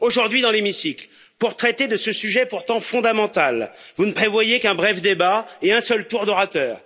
Aujourd'hui, dans l'hémicycle, pour traiter de ce sujet pourtant fondamental, vous ne prévoyez qu'un bref débat et un seul tour d'orateurs.